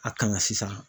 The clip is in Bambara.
A kan ka sisan